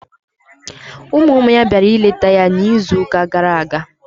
Ụmụ ụmụ ya bịara ịleta ya n'izuụka gara aga.